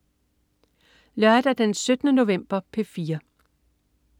Lørdag den 17. november - P4: